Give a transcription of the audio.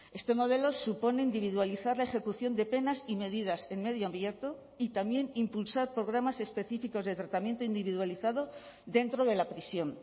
este modelo supone individualizar la ejecución de penas y medidas en medio abierto y también impulsar programas específicos de tratamiento individualizado dentro de la prisión